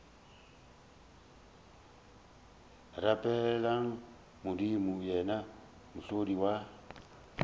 rapeleng modimo yena mohlodi wa